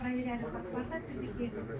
Gəlin baxaq, bu avtomobil nə vaxt gedir?